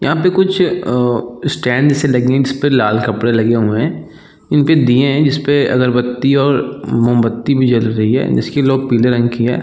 यहाँ पे कुछ आ स्टैंड से लगी जिसपे लाल कपडे लगी हुई है इनपे दिए है जिसपे अगरबत्ती और मोमबती भी जल रहे है जिसके लौ पिले रंग की है।